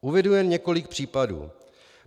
Uvedu jen několik případů.